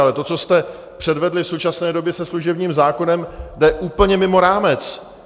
Ale to, co jste předvedli v současné době se služebním zákonem, jde úplně mimo rámec.